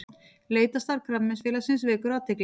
Leitarstarf Krabbameinsfélagsins vekur athygli